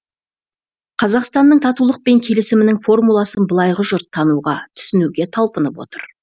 қазақстанның татулық пен келісімінің формуласын былайғы жұрт тануға түсінуге талпынып отыр